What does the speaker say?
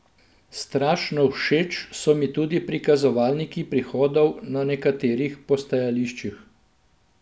Strašno všeč so mi tudi prikazovalniki prihodov na nekaterih postajališčih.